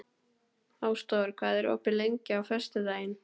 Ásdór, hvað er opið lengi á föstudaginn?